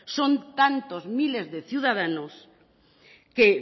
son tantos miles de ciudadanos que